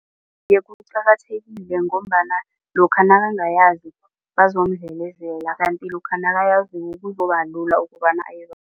Iye, kuqakathekile ngombana lokha nakangayazi bazomdlelezela kanti lokha nakayaziko kuzobalula ukobana